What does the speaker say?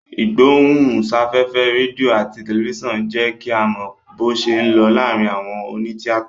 Ìgbóhùn sáfẹ́fẹ́ rédíò àti tẹ̀lifísàn ń jẹ́ kí a mọ bó ṣé ń lọ láàárín àwọn òní tíátà